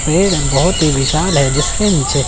पेड़ हैं बहोत ही विशाल है जिसके नीचे--